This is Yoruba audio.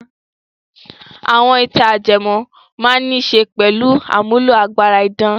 Àwọn ìtàn ajẹmọ́ án máa níṣe pẹ̀lú àmúlò agbára idán.